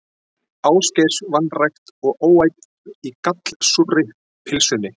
Ásgeirs, vanrækt og óæt í gallsúrri pylsunni.